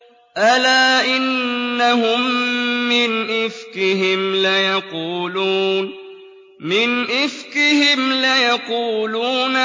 أَلَا إِنَّهُم مِّنْ إِفْكِهِمْ لَيَقُولُونَ